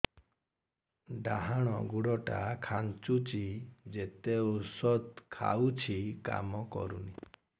ଡାହାଣ ଗୁଡ଼ ଟା ଖାନ୍ଚୁଚି ଯେତେ ଉଷ୍ଧ ଖାଉଛି କାମ କରୁନି